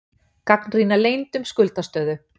Gagnrýna leynd um skuldastöðu